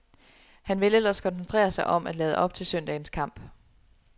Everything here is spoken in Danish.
Han vil ellers koncentrere mig om at lade op til søndagens kamp.